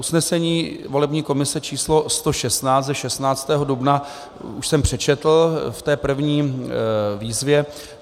Usnesení volební komise číslo 116 ze 16. dubna už jsem přečetl v té první výzvě.